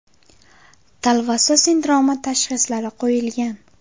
Talvasa sindromi” tashxislari qo‘yilgan.